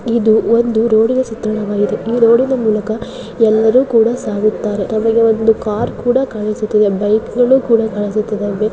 ಇದು ಒಂದು ರೋಡ ಇನ ಚಿತ್ರಣವಾಗಿದೆ ಈ ರೋಡ ಇನ ಮೂಲಕ ಯಲ್ಲರು ಕೂಡಾ ಸಾಗುತ್ತಾರೆ. ನಮಗೆ ಒಂದು ಕಾರ್ ಕೂಡಾ ಕಾಣುಸಿಟ್ಟಿದೆ. ಬೈಕ್ ಗಳು ಕೂಡಾ ಕಾಣುಸಿಟ್ಟಿದ್ದಾವೆ. ಬೇರೆ --